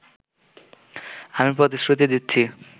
আমি প্রতিশ্রুতি দিচ্ছি